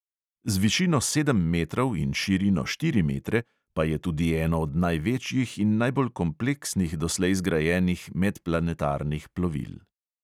Z višino sedem metrov in širino štiri metre pa je tudi eno od največjih in najbolj kompleksnih doslej zgrajenih medplanetarnih plovil.